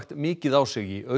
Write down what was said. mikið á sig í